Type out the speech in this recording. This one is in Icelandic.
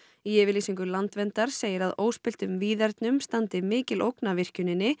í yfirlýsingu Landverndar segir að óspilltum víðernum standi mikil ógn af virkjuninni